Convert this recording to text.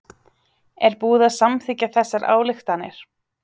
Er búið að samþykkja þessar ályktanir?